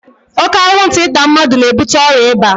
Oke anwụnta ịta mmadụ na-ebute ọrịa ịba.